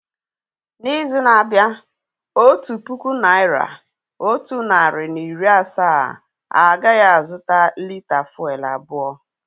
N'izu na-abịa, otu puku naira, otu narị na iri asaa agaghị azụta lị́tà fụ́élú abụọ